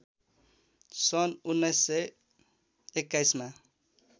सन् १९२१ मा